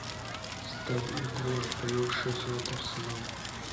ставь игру апл шеффилд арсенал